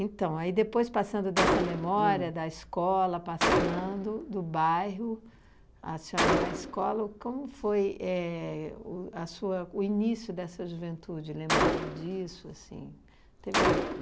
Então, aí depois, passando dessa memória da escola, passando do bairro, a senhora na escola, o como foi éh o a sua o início dessa juventude, lembrando disso, assim, teve?